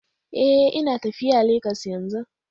Eh, ina tafiya Legas yanzu